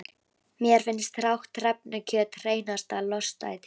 Mér fannst hrátt hrefnukjöt hreinasta lostæti.